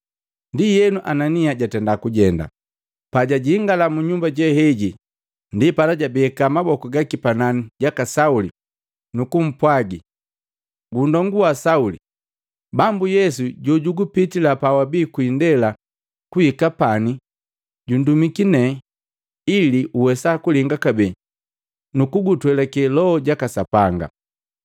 Ndienu, Anania jatenda kujenda, jajingala mu nyumba jeheji. Ndipala jabeka maboku gaki panani jaka Sauli, nukumpwagi, “Nndongu wa Sauli, Bambu Yesu jojukupitila pa wabii ku indela kuhika pani, jundumiki nee ili uwesa kulinga kabee nukugutwelake Loho jaka Sapanga.”